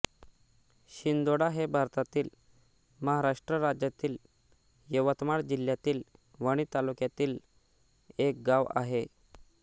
शिंदोळा हे भारतातील महाराष्ट्र राज्यातील यवतमाळ जिल्ह्यातील वणी तालुक्यातील एक गाव आहे